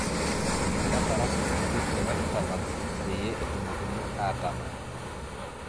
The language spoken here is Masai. Ketaraki entim e westalands peyie etumokini aatamany'